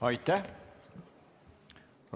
Aitäh!